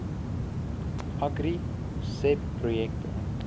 agri seb projekte